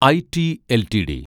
IT LTD